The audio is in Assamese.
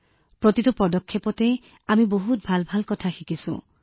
আমি প্ৰতিটো পৰ্যায়তে বহুত ভাল কথা শিকিছো